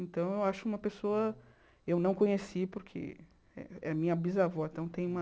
Então, eu acho uma pessoa... Eu não conheci, porque é é minha bisavó, então tem uma...